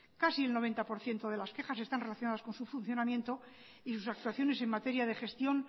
casi el noventa por ciento de las quejas están relacionadas con su funcionamiento y sus actuaciones en materia de gestión